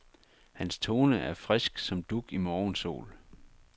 Hans tone er frisk som dug i morgensol.